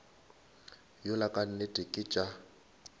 yola ka nnete ke tša